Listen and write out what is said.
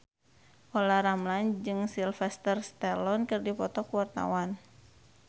Olla Ramlan jeung Sylvester Stallone keur dipoto ku wartawan